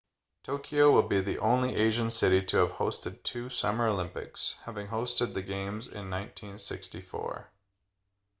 tokyo will be the only asian city to have hosted two summer olympics having hosted the games in 1964